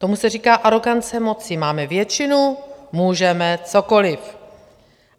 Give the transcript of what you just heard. Tomu se říká arogance moci - máme většinu, můžeme cokoliv.